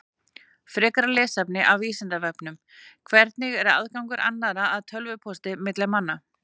Frekara lesefni af Vísindavefnum: Hvernig er aðgangur annarra að tölvupósti milli manna?